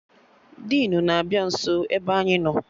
Dinu na-abịa nso ebe anyị nọ